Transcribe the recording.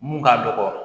Mun ka dɔgɔ